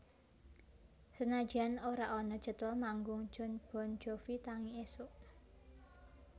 Senajan ora ana jadwal manggung Jon Bon Jovi tangi isuk